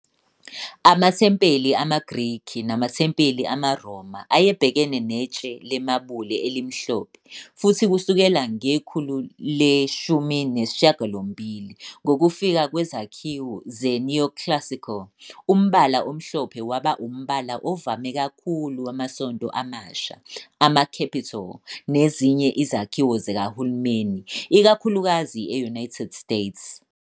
Amathempeli amaGreki namathempeli amaRoma ayebhekene netshe lemabula elimhlophe, futhi kusukela ngekhulu le-18, ngokufika kwezakhiwo ze-neoclassical, umbala omhlophe waba umbala ovame kakhulu wamasonto amasha, ama-capitol, nezinye izakhiwo zikahulumeni, ikakhulukazi e-United States.